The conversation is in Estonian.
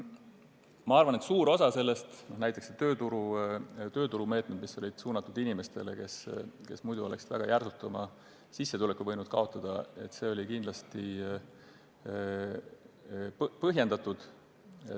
Ma arvan, et suur osa neist, näiteks tööturumeetmed, mis olid suunatud inimestele, kes muidu oleks väga järsult võinud oma sissetuleku kaotada, olid kindlasti põhjendatud.